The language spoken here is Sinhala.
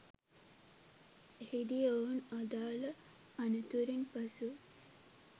එහිදී ඔවුන් අදාළ අනතුරින් පසු